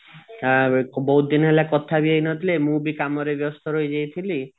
ଆଉ ବହୁତ ଦିନ ହେଲା କଥା ବି ହେଇନଥିଲି ମୁ ବି କାମରେ ବ୍ୟସ୍ତ ରହିଜାଇଥିଲି